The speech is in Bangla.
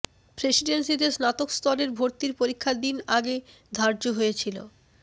প্রেসিডেন্সিতে স্নাতক স্তরের ভর্তির পরীক্ষার দিন আগে ধার্য হয়েছিল